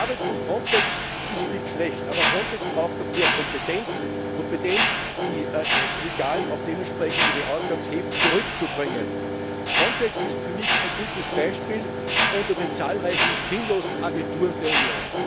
Die Arbeit von Frontex ist nicht schlecht, aber Frontex braucht noch mehr Kompetenz Kompetenz, die Illegalen auch dementsprechend in ihre Ausgangshäfen zurückzubringen. Frontex ist für mich ein gutes Beispiel unter den zahlreichen sinnlosen Agenturen der Union.